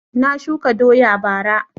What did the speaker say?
Na shuka doya bara